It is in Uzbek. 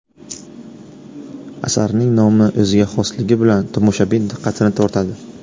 Asarning nomi o‘ziga xosligi bilan tomoshabin diqqatini tortadi.